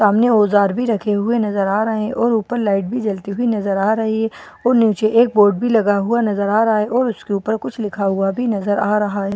सामने औजार भी रखे हुए नजर आ रहे हैं और ऊपर लाइट भी जलती हुई नज़र आ रही है और नीचे एक बोर्ड भी नज़र आ रहा है उसके ऊपर कुछ लिखा हुआ भी नज़र आ रहा है ।